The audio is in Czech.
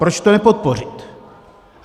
Proč to nepodpořit?